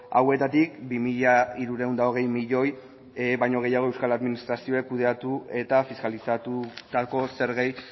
hauetatik bi mila hirurehun eta hogei milioi baino gehiago euskal administrazioak kudeatu eta fiskalizatutako zergei